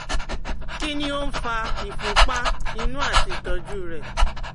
Kí ni ó ń fa ìfunpá inú àti ìtọ́jú rẹ̀?